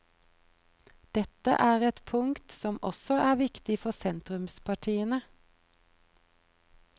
Dette er et punkt som også er viktig for sentrumspartiene.